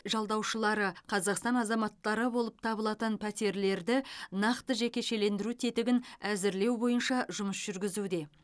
жалдаушылары қазақстан азаматтары болып табылатын пәтерлерді нақты жекешелендіру тетігін әзірлеу бойынша жұмыс жүргізуде